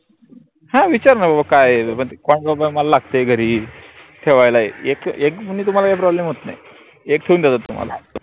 हां विचारनार बाबा काय आहे? पन ते मला लागतेय घरी ठेवायला एक एक problem होत नाई एक ठेऊ देतात तुम्हाला